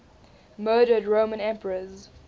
murdered roman emperors